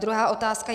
Druhá otázka.